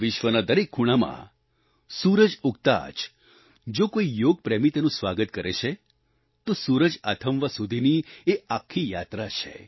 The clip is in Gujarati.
વિશ્વના દરેક ખૂણામાં સૂરજ ઉગતાં જ જો કોઈ યોગ પ્રેમી તેનું સ્વાગત કરે છે તો સૂરજ આથમવા સુધીની એ આખી યાત્રા છે